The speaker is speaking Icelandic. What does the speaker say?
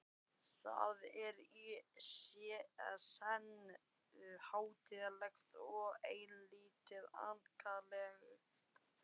Það er í senn hátíðlegt og eilítið ankannalegt.